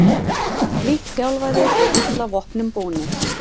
Lítt þjálfaðir og illa vopnum búnir